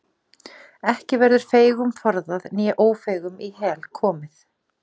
Ekki verður feigum forðað né ófeigum í hel komið.